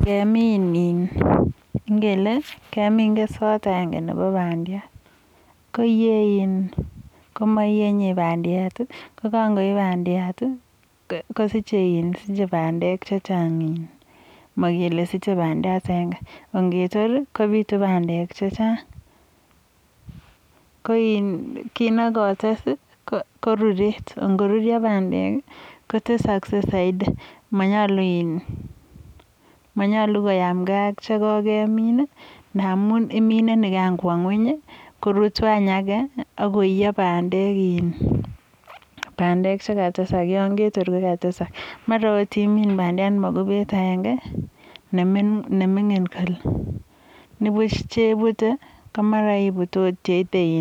Ngemin in ngele kemin, keswat agenge nebo bandiat koiyei en, komaiyei inye bandiat, ko kankoii inye bandiat, kosichei makele sichei bandiat agenge. Angetor kobitu bandek che chang. Koin, kit nee kotes ko ruret. Ngorurio bandek ko manyolu koyamgei ak che kokemin. Ngamun imine nigan kwo ngweny, korutuanyun age akoiyo bandek chekatesak yon ketor ko katesak. Mara ogot imin bandek mapuket agenge nemining kole, nibucn chepute ko mara iput agot cheitei